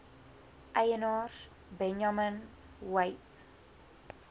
eienaars benjamin weigt